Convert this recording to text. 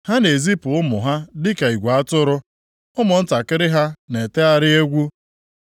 Ha na-ezipụ ụmụ ha dịka igwe atụrụ; ụmụntakịrị ha na-etegharị egwu.